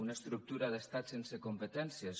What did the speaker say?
una estructura d’estat sense competències